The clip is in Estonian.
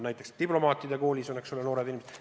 Näiteks diplomaatide koolis õpivad sellised noored inimesed.